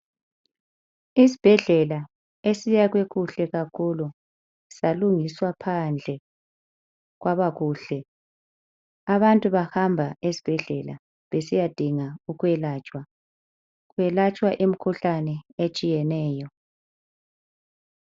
Isbhedlela esiyakhwe kuhle kakhulu salungiswa phandle kwabakuhle. Abantu bahamba esibhedlela besiyadinga ukwelatshwa. Kwelatswa imikhuhlane etshiyeneyo.